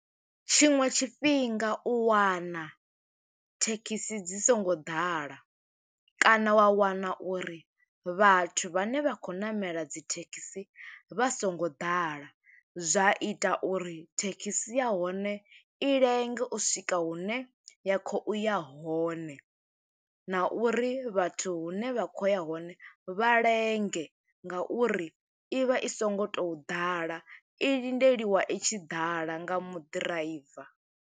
Tshiṅwe tshifhinga, u wana thekhisi dzi songo ḓala, kana wa wana uri vhathu vhane vha khou ṋamela dzi thekhisi, vha songo ḓala. Zwa ita uri thekhisi ya hone, i lenge u swika hune ya khou ya hone, na uri vhathu hune vha kho uya hone, vha lenge nga uri i vha i songo tou ḓala. I lindeliwa i tshi ḓala, nga muḓiraiva.